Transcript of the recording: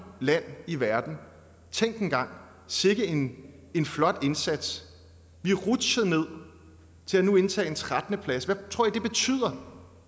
land i verden tænk engang sikke en en flot indsats vi rutsjede ned til nu at indtage en trettende plads hvad tror i det betyder